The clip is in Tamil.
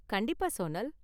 கண்டிப்பா சோனல்.